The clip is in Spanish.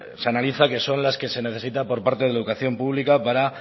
se analizan que son las que se necesita por parte de la educación pública para